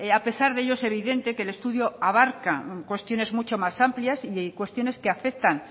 a pesar de ello es evidente que el estudio abarca cuestiones mucho más amplias y cuestiones que afectan